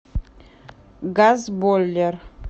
газбойлер